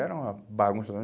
Era uma bagunça.